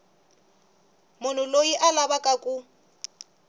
munhu loyi a lavaka ku